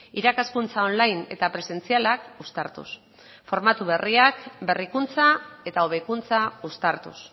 irakaskuntza online eta presentzialak uztartuz formatu berriak berrikuntza eta hobekuntza uztartuz